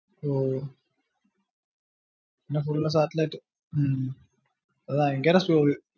ഓഹ പിന്നെ full satellite ഹും അത് ഭയങ്കര slow യിൽ